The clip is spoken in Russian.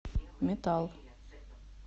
метал